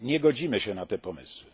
Nie zgadzamy się na te pomysły.